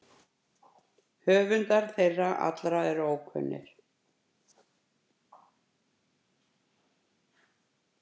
Höfundar þeirra allra eru ókunnir.